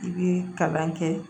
I bi kalan kɛ